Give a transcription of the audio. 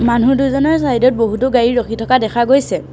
মানুহ দুজনৰ চাইড ত বহুতো গাড়ী ৰখি থকা দেখা গৈছে।